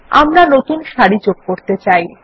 আমরা নতুন সারি যোগ করতে চাই